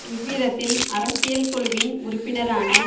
இவ்விதத்தில் அரசியல் குழுவின் உறுப்பினரான